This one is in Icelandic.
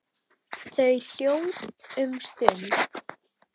Þau eru hljóð um stund.